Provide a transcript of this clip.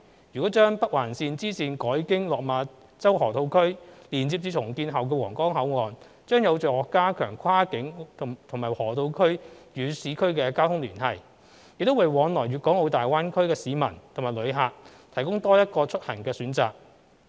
如將北環綫支綫改經落馬洲河套區連接至重建後的皇崗口岸，將有助加強跨境和河套區與市區的交通聯繫，亦為往來粵港澳大灣區的市民及旅客提供多一個出行的選擇。